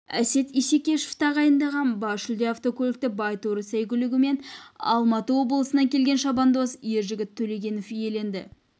әсет исекешев тағайындаған бас жүлде автокөлікті байторы сәйгүлігімен алматы облысынан келген шабандоз ержігіт төлегенов иеленді